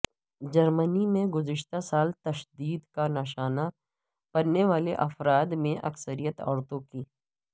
جرمنی میں گذشتہ سال تشدد کا نشانہ بننے والے افراد میں اکثریت عورتوں کی